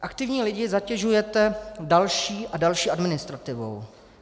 Aktivní lidi zatěžujete další a další administrativou.